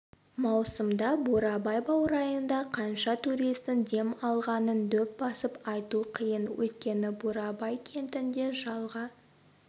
маусымда бурабай баурайында қанша туристің дем алғанын дөп басып айту қиын өйткені бурабай кентінде жалға